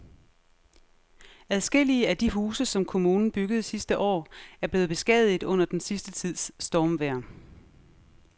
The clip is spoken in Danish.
Adskillige af de huse, som kommunen byggede sidste år, er blevet beskadiget under den sidste tids stormvejr.